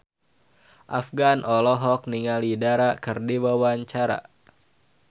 Afgan olohok ningali Dara keur diwawancara